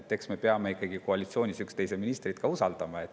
Eks me peame ikkagi koalitsioonis üksteise ministreid usaldama.